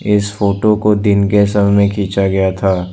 इस फोटो को दिन के समय में खींचा गया था।